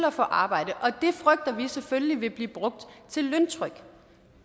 og få arbejde og det frygter vi selvfølgelig vil blive brugt til løntryk